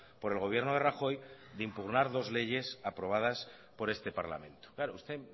por el gobierno de rajoy de impugnar dos leyes aprobadas por este parlamento claro usted